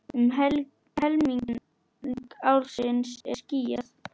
Um helming ársins er skýjað.